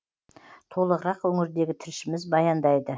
толығырақ өңірдегі тілшіміз баяндайды